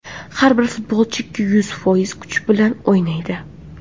Har bir futbolchi ikki yuz foiz kuch bilan o‘ynaydi.